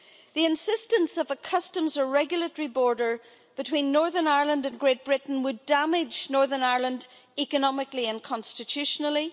The insistence of a customs or regulatory border between Northern Ireland and Great Britain would damage Northern Ireland economically and constitutionally.